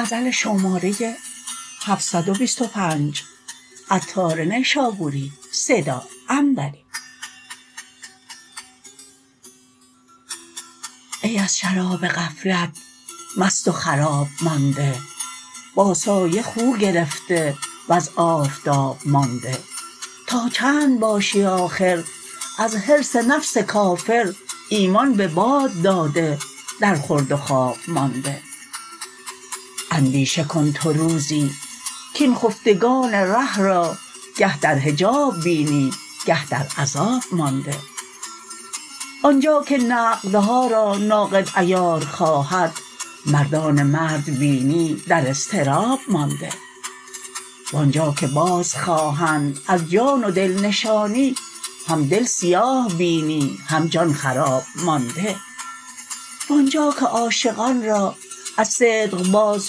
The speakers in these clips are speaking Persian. ای از شراب غفلت مست و خراب مانده با سایه خو گرفته وز آفتاب مانده تا چند باشی آخر از حرص نفس کافر ایمان به باد داده در خورد و خواب مانده اندیشه کن تو روزی کین خفتگان ره را گه در حجاب بینی گه در عذاب مانده آنجا که نقدها را ناقد عیار خواهد مردان مرد بینی در اضطراب مانده وانجا که باز خواهند از جان و دل نشانی هم دل سیاه بینی هم جان خراب مانده وانجا که عاشقان را از صدق باز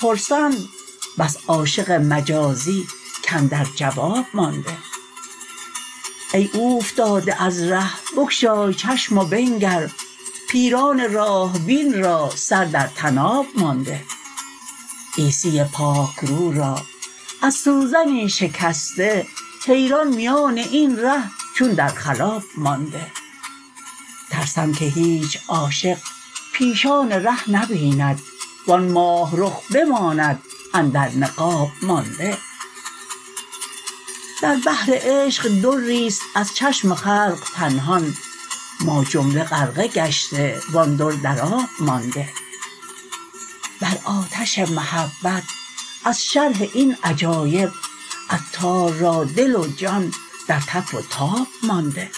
پرسند بس عاشق مجازی کاندر جواب مانده ای اوفتاده از ره بگشای چشم و بنگر پیران راه بین را سر در طناب مانده عیسی پاک رو را از سوزنی شکسته حیران میان این ره چون در خلاب مانده ترسم که هیچ عاشق پیشان ره نبیند وان ماه رخ بماند اندر نقاب مانده در بحر عشق دری است از چشم خلق پنهان ما جمله غرقه گشته وان در درآب مانده بر آتش محبت از شرح این عجایب عطار را دل و جان در تف و تاب مانده